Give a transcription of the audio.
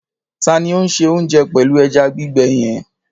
Ta ni ó ń se oúnjẹ pẹ̀lú ẹja gbígbẹ yẹn?